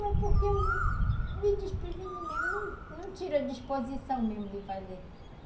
Não, é porque me despreveni mesmo, não tiro a disposição mesmo de fazer.